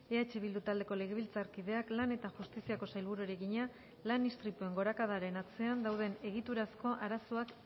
eh bildu taldeko legebiltzarkideak lan eta justiziako sailburuari egina lan istripuen gorakadaren atzean dauden egiturazko arazoak